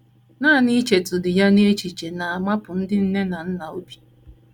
Nanị ichetụdị ya n’echiche na - amapụ ndị nne na nna obi!